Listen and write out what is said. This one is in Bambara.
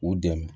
U dɛmɛ